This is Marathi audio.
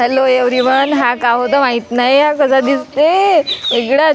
हॅलो एव्हरी वन हा गावं द माहित नाही कसा दिसते वेगळच .